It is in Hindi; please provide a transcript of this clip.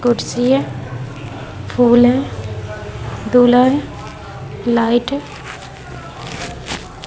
कुर्सी है फूल है दूल्हा है लाइट है ।